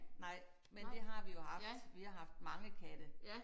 Nej men det har vi jo haft. Vi har haft mange katte